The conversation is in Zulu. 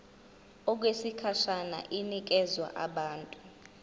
okwesikhashana inikezwa abantu